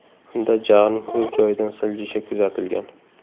Unda jag‘ning o‘z joyidan siljishi kuzatilgan.